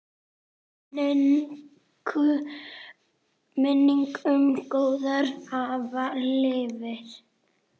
Minning um góðan afa lifir.